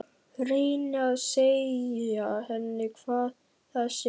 Reyni að segja henni hvað það sé frá